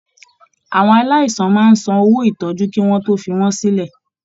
Àwọn aláìsàn máa n sàn owó ìtọjú kí wọn tó fí wọn sílẹ.